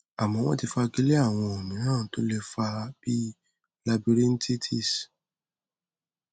àmọ wọn ti fagilé àwọn ohun mìíràn tó lè fa á bí i labirythitis